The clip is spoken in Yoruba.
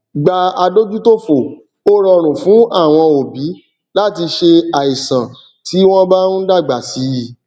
gba adójútòfò ó rọrùn fún àwọn òbí láti ṣe àìsàn tí wọn bá ń dàgbà síi